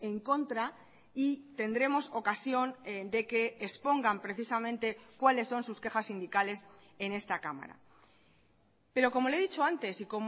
en contra y tendremos ocasión de que expongan precisamente cuáles son sus quejas sindicales en esta cámara pero como le he dicho antes y